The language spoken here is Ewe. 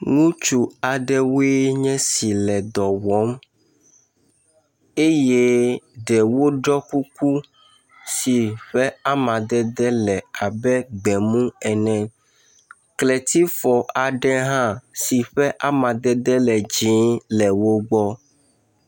nutsu aɖewoe nye si le dɔwɔm eye ɖewo ɖɔ kuku si ƒe amadede le abe gbemu ene kletsifɔ aɖe hã si ƒe amadede le dzĩe hã le wógbɔ